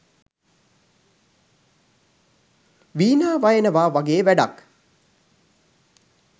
වීණා වයනවා වගේ වැඩක්